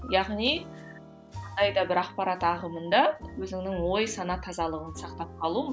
яғни бір ақпарат ағымында өзіңнің ой сана тазалығыңды сақтап қалу